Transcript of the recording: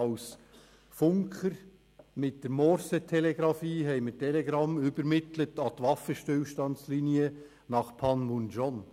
Mit der Morsetelegrafie übermittelten wir Telegramme an die Waffenstillstandslinie nach Panmunjeom.